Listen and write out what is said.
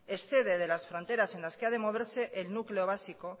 excede de las fronteras en las que ha de moverse en núcleo básico